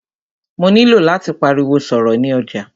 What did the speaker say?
Mó nilò láti pariwo sọ̀rọ̀ ni ọjà.